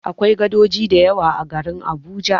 Akwai gadoji da yawa a garin Abuja.